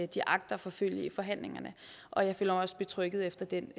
de agter at forfølge i forhandlingerne og jeg føler mig også betrygget efter den